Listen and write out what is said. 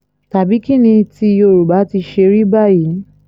tàbí kín ni ti yorùbá ti ṣe rí báyìí